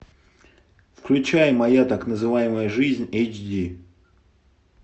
включай моя так называемая жизнь эйч ди